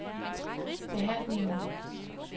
behandlingen